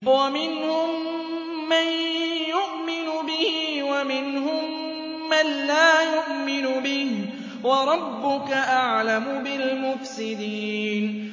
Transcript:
وَمِنْهُم مَّن يُؤْمِنُ بِهِ وَمِنْهُم مَّن لَّا يُؤْمِنُ بِهِ ۚ وَرَبُّكَ أَعْلَمُ بِالْمُفْسِدِينَ